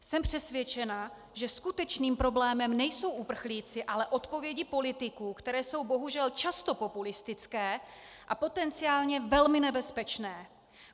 Jsem přesvědčená, že skutečným problémem nejsou uprchlíci, ale odpovědi politiků, které jsou bohužel často populistické a potenciálně velmi nebezpečné.